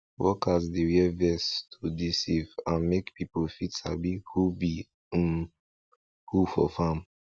workers dey wear vest to to dey safe and make people fit sabi who be um who for farm